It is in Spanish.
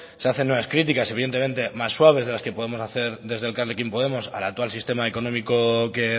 se hacen nuevas críticas evidentemente más suaves de las que podemos desde elkarrekin podemos al actual sistema económico que